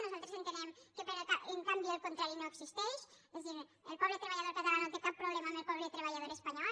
nosaltres entenem que en canvi el contrari no existeix és a dir el poble treballador català no té cap problema amb el poble treballador espanyol